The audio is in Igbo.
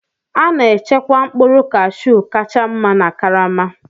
A na-echekwa mkpụrụ Kashu kacha mma na karama.